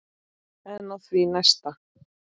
En á því næsta?